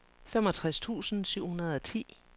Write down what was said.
femogtres tusind syv hundrede og ti